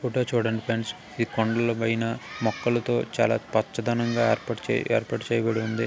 Photo చూడండి friends. ఈ కొండలపైన మొక్కలతో చాలా పచ్చదనంగా ఏర్పాటుచే-- ఏర్పాటు చేయబడి ఉంది.